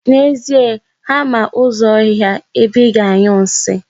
N'ezie, ha ma ụzọ ọhịa ebe ị ga-anyụ nsi.